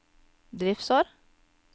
driftsår